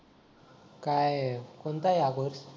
काय कोणता आहे हा कोर्स